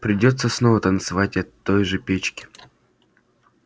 придётся снова танцевать от той же печки